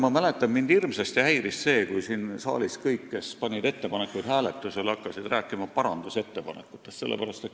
Ma mäletan, et kunagi mind hirmsasti häiris see, kui siin saalis kõik, kes panid ettepanekuid hääletusele, rääkisid parandusettepanekutest.